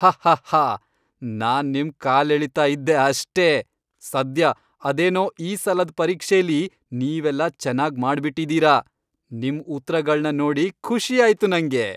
ಹಹ್ಹಹ್ಹಾ! ನಾನ್ ನಿಮ್ ಕಾಲೆಳಿತಾ ಇದ್ದೆ ಅಷ್ಟೇ! ಸದ್ಯ ಅದೇನೋ ಈ ಸಲದ್ ಪರೀಕ್ಷೆಲಿ ನೀವೆಲ್ಲ ಚೆನಾಗ್ ಮಾಡ್ಬಿಟಿದೀರ, ನಿಮ್ ಉತ್ರಗಳ್ನ ನೋಡಿ ಖುಷಿ ಆಯ್ತು ನಂಗೆ.